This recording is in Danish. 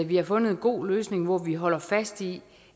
vi har fundet en god løsning hvor vi holder fast i